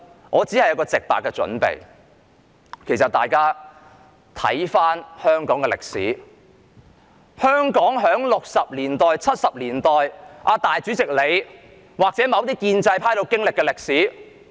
我只有一個建議，就是請大家回顧香港六七十年代那段大主席或某些建制派人士都經歷過的歷史。